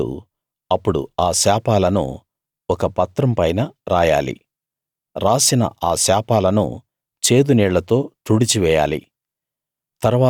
యాజకుడు అప్పుడు ఆ శాపాలను ఒక పత్రం పైన రాయాలి రాసిన ఆ శాపాలను చేదు నీళ్ళతో తుడిచి వేయాలి